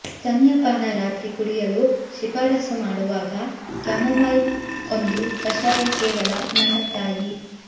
ಸ್ತನ್ಯಪಾನ ರಾತ್ರಿ ಕುಡಿಯಲು ಶಿಫಾರಸು ಮಾಡುವಾಗ ಕ್ಯಾಮೊಮೈಲ್ ಒಂದು ಕಷಾಯ ಕೇವಲ ನನ್ನ ತಾಯಿ